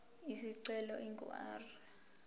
isicelo ingu r